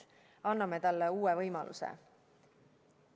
Anname talle uue võimaluse.